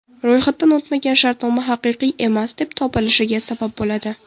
Ro‘yxatdan o‘tmagan shartnoma haqiqiy emas deb topilishiga sabab bo‘ladi.